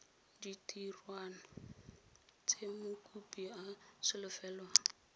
ditirwana tse mokopi a solofelwang